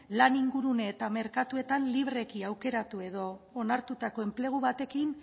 lan ingurune eta merkatuetan libreki aukeratu edo onartutako enplegu batekin